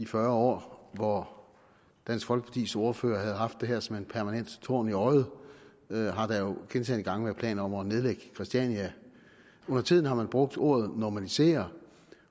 fyrre år hvor dansk folkepartis ordførere har haft det her som en permanent torn i øjet øjet har der gentagne gange været planer om at nedlægge christiania undertiden har man brugt ordet normalisere